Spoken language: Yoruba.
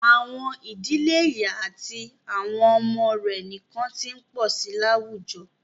À̀wọn ìdílé ìyá àti àwọn ọmọ rẹ̀ nìkan ti ń pọ̀ sí i láwùjọ.